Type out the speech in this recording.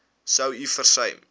sou u versuim